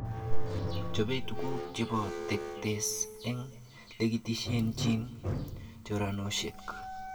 Chobe tuguk chebo tektes eng lekitelejin choranoshek